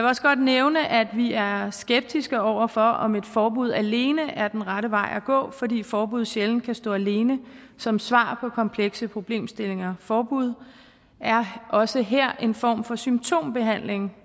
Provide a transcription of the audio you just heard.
også godt nævne at vi er skeptiske over for om et forbud alene er den rette vej at gå fordi forbud sjældent kan stå alene som svar på komplekse problemstillinger forbud er også her en form for symptombehandling